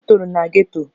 M toro na geto